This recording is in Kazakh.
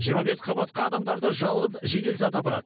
жиырма бес қабатқа адамдарды жалғыз жедел саты апарады